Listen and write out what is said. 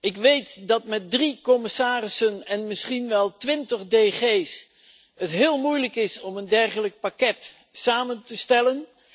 Ik weet dat het met drie commissarissen en misschien wel 20 DG's heel moeilijk is om een dergelijk pakket samen te stellen.